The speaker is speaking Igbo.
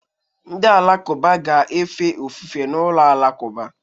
ndị Alakụba na-efe ofufe n'ụlọ alakụba